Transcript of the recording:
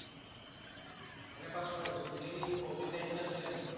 এনে pass কৰাইছে? তেতিয়া কি কভিড nineteen আছিলে নেকি?